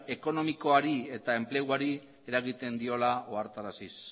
ekonomikoari eta enpleguari eragiten diola ohartaraziz